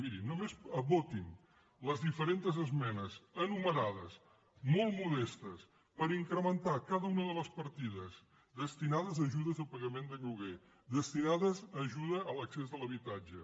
mirin només votin les diferents esmenes enumerades molt modestes per incrementar cada una de les partides destinades a ajudes al pagament de lloguer destinades a ajuda a l’accés a l’habitatge